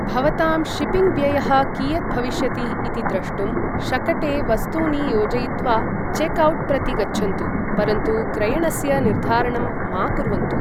भवतां शिपिङ्ग् व्ययः कियत् भविष्यति इति द्रष्टुं, शकटे वस्तूनि योजयित्वा चेक् औट् प्रति गच्छन्तु, परन्तु क्रयणस्य निर्धारणं मा कुर्वन्तु।